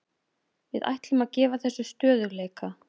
Við ætlum að gefa þessu stöðugleika.